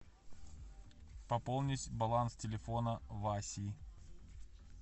пополнить баланс телефона васи